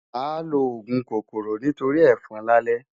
Màá lo òògùn kòkòrò nítorí ẹ̀fọn lálẹ́.